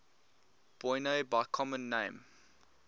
boinae by common name